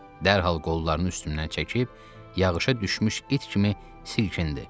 Dərhal qollarını üstümdən çəkib yağışa düşmüş it kimi silkindi.